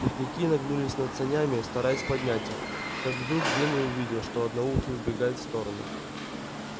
путники нагнулись над санями стараясь поднять их как вдруг генри увидел что одноухий убегает в сторону